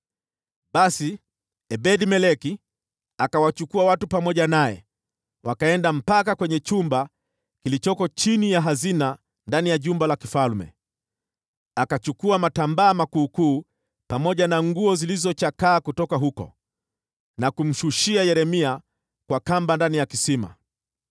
Basi Ebed-Meleki akawachukua watu pamoja naye, wakaenda mpaka kwenye chumba kilichoko chini ya hazina ndani ya jumba la kifalme. Akachukua matambaa makuukuu pamoja na nguo zilizochakaa kutoka huko, na kumshushia Yeremia kwa kamba ndani ya kisima.